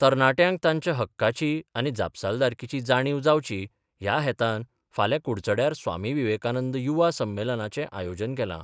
तरणाट्यांक तांच्या हक्कांची आनी जापसालदारकीची जाणीव जावची ह्या हेतान फाल्यां कुडचड्यार स्वामी विवेकानंद युवा संमेलनाचें आयोजन केलां.